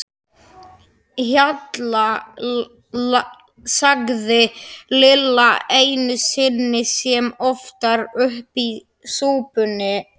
Hjalla, sagði Lilla einu sinni sem oftar upp úr súpunni.